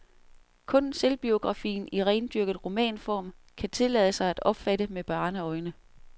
Kun selvbiografien i rendyrket romanform kan tillade sig at opfatte med barneøjne.